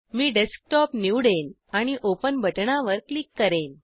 मी desktop निवडेन आणि open बटणावर क्लिक करेन